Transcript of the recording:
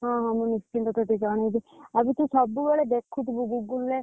ହଁ ହଁ, ମୁ ନିଶ୍ଚିନ୍ତ ତତେ ଜଣେଇବି ଆଉ ବି ତୁ ସବୁବେଳେ ଦେଖୁଥିବୁ google ରେ।